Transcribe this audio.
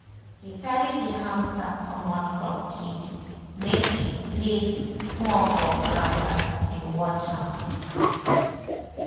he carry the hamster comot from cage make e play small for ground as he dey watch am.